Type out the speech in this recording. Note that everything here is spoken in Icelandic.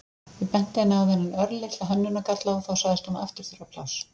Ég benti henni á þennan örlitla hönnunargalla og þá sagðist hún aftur þurfa pláss.